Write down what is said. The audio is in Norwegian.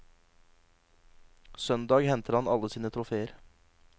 Søndag henter han alle sine troféer.